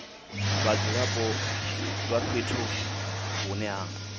vhadzulapo vha fhethu hune ha